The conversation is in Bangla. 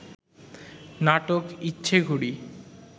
নাটক ইচ্ছেঘুড়ি